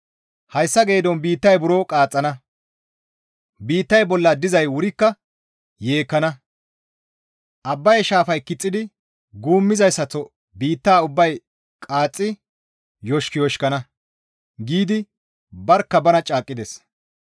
Hayssa geedon biittay buro qaaxxana; biittay bolla dizay wurikka yeekkana; Abbaye shaafay kixxidi guummizayssaththo biitta ubbay qaaththi yoshikuyoshikana» giidi barkka banan caaqqides.